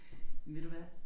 Men ved du hvad